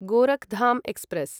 Gorakh Dham express